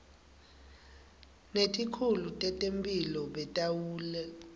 netikhulu tetemphilo bataweluleka